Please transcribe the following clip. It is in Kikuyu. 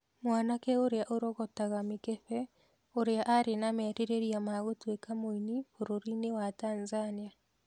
Mwanake ũrĩa orogotaga mĩkebe ũria arĩ na merirĩria ma gũtuĩka mũini bũrũri-inĩ wa Tanzania